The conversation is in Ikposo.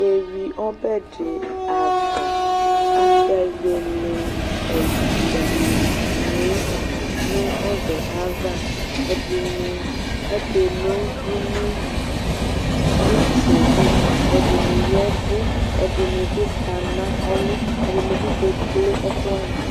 ɩvi ɔbɛdɩ ava, aka ewele ɛga nu obava ɛdɩnɩ akeno dʊnʊ itseli edinɩ yɛvʊ ɛdinɩbi kana ɔlʊ ɛdɩnɩbɩ kekple ɛkuwanɩ